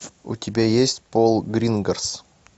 у тебя есть пол гринграсс